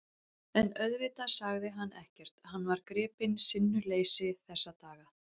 En auðvitað sagði hann ekkert, hann var gripinn sinnuleysi þessara daga.